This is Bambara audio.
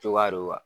Cogoya don wa